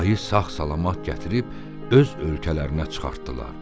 Ayı sağ-salamat gətirib öz ölkələrinə çıxartdılar.